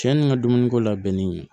Cɛ nin ka dumuniko labɛnnen